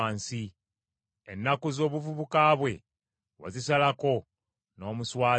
Ennaku z’obuvuka bwe wazisalako, n’omuswaza.